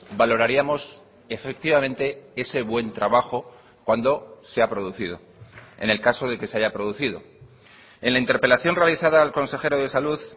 valoraríamos efectivamente ese buen trabajo cuando se ha producido en el caso de que se haya producido en la interpelación realizada al consejero de salud